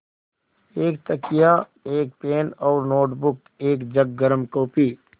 एक तकिया एक पेन और नोटबुक एक जग गर्म काफ़ी